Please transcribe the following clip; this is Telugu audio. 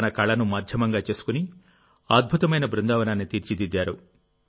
తన కళను మాధ్యమంగా చేసుకుని అద్భుతమైన బృందావనాన్ని తీర్చిదిద్దారు